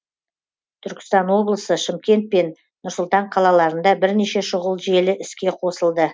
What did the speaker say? түркістан облысы шымкент пен нұр сұлтан қалаларында бірнеше шұғыл желі іске қосылды